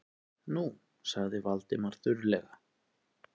Nú- sagði Valdimar þurrlega.